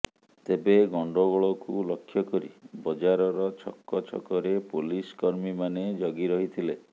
ତେବେ ଗଣ୍ଡଗୋଳକୁ ଲକ୍ଷ୍ୟ କରି ବଜାରର ଛକ ଛକରେ ପୋଲିସ୍ କର୍ମୀମାନେ ଜଗି ରହିଥିଲେ